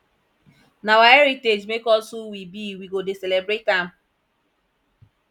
na our heritage make us who we be we go dey celebrate am